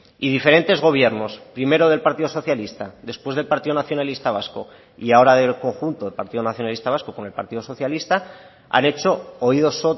y diferentes gobiernos primero del partido socialista después del partido nacionalista vasco y ahora del conjunto del partido nacionalista vasco con el partido socialista han hecho oídos